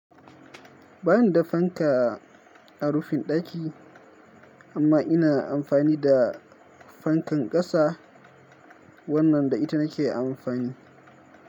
Bani da fanka a rufin daki, amma ina amfani da fankan ƙasa. Wannan da ita nake amfani.